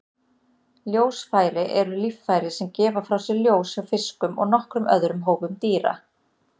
Ljósfæri eru líffæri sem gefa frá sér ljós hjá fiskum og nokkrum öðrum hópum dýra.